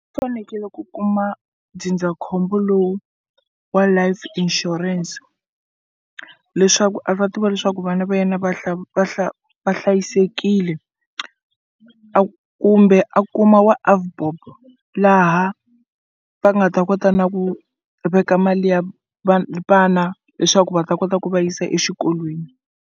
U fanekele ku kuma ndzindzakhombo lowu wa Life Insurance leswaku a ta tiva leswaku vana va yena va hlayisekile kumbe a kuma wa AVBOB laha va nga ta kota na ku veka mali ya vana leswaku va ta kota ku va yisa exikolweni.